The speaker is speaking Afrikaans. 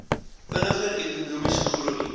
vinniger ekonomiese groei